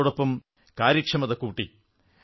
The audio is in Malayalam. അതോടൊപ്പം കാര്യക്ഷമത കൂടി